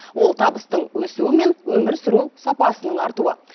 ол табыстың өсуі мен өмір сүру сапасының артуы